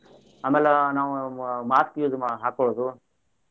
ಅಮ್ಯಾಲ ನಾವ್ mask use ಹಾಕೋಳುದು.